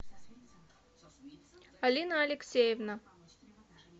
алина алексеевна